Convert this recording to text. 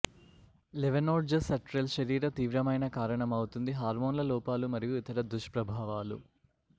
levonorgestrel శరీర తీవ్రమైన కారణమవుతుంది హార్మోన్ల లోపాలు మరియు ఇతర దుష్ప్రభావాలు